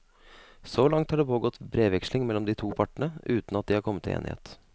Så langt har det pågått brevveksling mellom de to partene, uten at de har kommet til enighet.